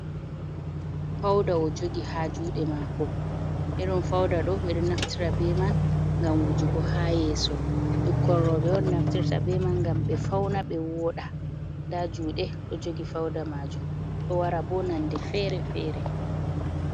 Fauda o jogi ha juɗe mako irin fauda ɗo ɓeɗo naftira be man gam wujugo ha yeso. Ɓukkon roɓe on naftirta be man gam ɓe fauna ɓe voɗa. Nda juɗe ɗo jogi. Fauda majum ɗo wara be non de fere-fere.